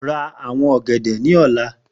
Ra awon ogede ni ọla!